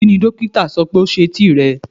Kini dokita sọ pe o se eti rẹ?